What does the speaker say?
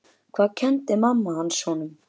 Hvað kenndi mamma hans honum?